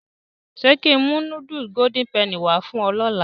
Ṣé kí n mú nudulu Golden Penny wá fún ọ lọ́la?